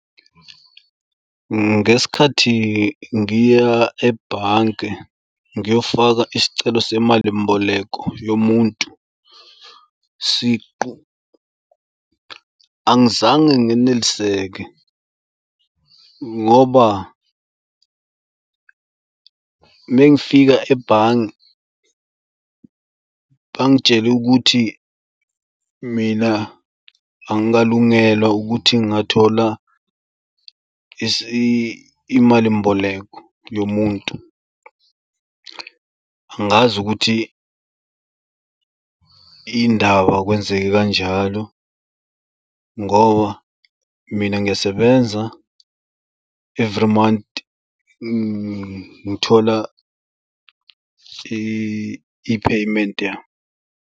Ngesikhathi ngiya ebhange ngiyofaka isicelo semalimboleko yomuntu siqu angizange ngeneliseke ngoba mengifika ebhange bangitshele ukuthi mina angikalungela ukuthi ngingathola imalimboleko yomuntu. Angazi ukuthi yindaba kwenzeke kanjalo ngoba mina ngiyasebenza every month ngithola i-payment yami.